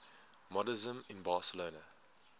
modernisme in barcelona